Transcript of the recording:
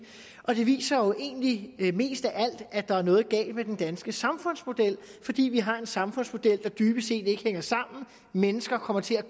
og det viser jo egentlig mest af alt at der er noget galt med den danske samfundsmodel fordi vi har en samfundsmodel der dybest set ikke hænger sammen mennesker kommer til at